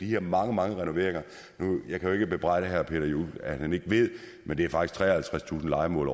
de her mange mange renoveringer jeg kan jo ikke bebrejde herre peter juel at han ikke ved det men det er faktisk treoghalvtredstusind lejemål